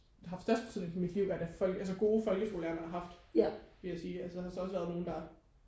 haft størst betydning for mit liv altså gode folkeskolelærere jeg har haft vil jeg sige altså der har så også være nogle der